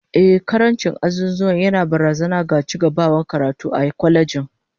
Ehh, karancin azuzuwa yana barazana ga cigaban karatu a kwalejin